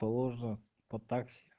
положено вот так